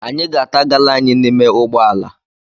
Anyị ga-ata gala anyị n'ime ụgbọala.